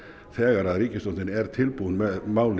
þegar ríkisstjórnin er tilbúin með málið